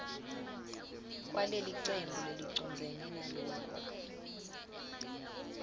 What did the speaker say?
kwalelicembu lelicondzene naloku